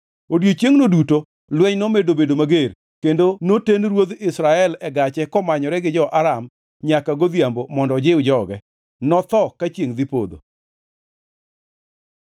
Odiechiengʼno duto lweny nomedo bedo mager kendo noten ruodh Israel e gache komanyore gi jo-Aram nyaka godhiambo mondo ojiw joge. Notho ka chiengʼ dhi podho.